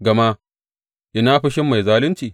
Gama ina fushin mai zalunci?